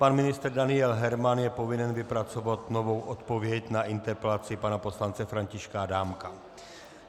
Pan ministr Daniel Herman je povinen vypracovat novou odpověď na interpelaci pana poslance Františka Adámka.